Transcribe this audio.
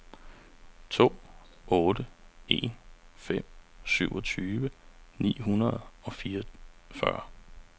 to otte en fem syvogtyve ni hundrede og fireogfyrre